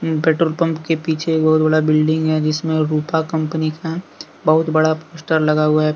Petrol pump के पीछे एक बहुत बड़ा बिल्डिंग हैं जिसमें रुपा कम्पनी का बहुत बड़ा पोस्टर लगा हुआ है।